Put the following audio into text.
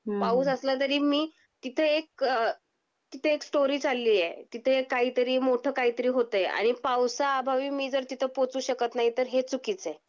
पाऊस असला तरी मी तिथे एक अ तिथे एक स्टोरी चालली आहे. तिथे काहीतरी मोठं काहीतरी होते आणि पावसा अभावी मी जर तिथे पोहचू शकत नाहीत तर हे चुकीच आहे.